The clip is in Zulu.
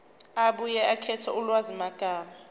abuye akhethe ulwazimagama